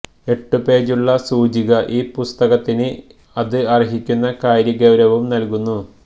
എട്ടു പേജുളള സൂചിക ഈ പുസ്തകത്തിന് അത് അർഹിക്കുന്ന കാര്യഗൌരവവും നല്കുന്നു